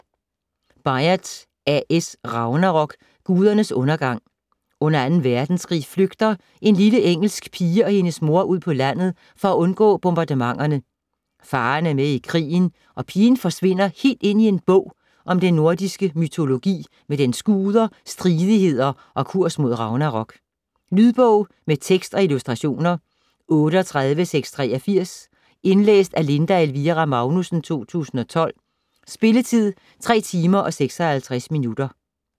Byatt, A. S.: Ragnarok: gudernes undergang Under 2. verdenskrig flygter en lille engelsk pige og hendes mor ud på landet for undgå bombardementerne. Faderen er med i krigen, og pigen forsvinder helt ind i en bog om den nordiske mytologi med dens guder, stridigheder og kurs mod ragnarok. Lydbog med tekst og illustrationer 38683 Indlæst af Linda Elvira Magnussen, 2012. Spilletid: 3 timer, 56 minutter.